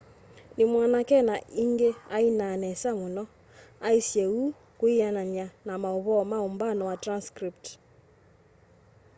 nimwanake na ingi ainaa nesa muno aisye uu kwianana na mauvoo ma umbano wa transcript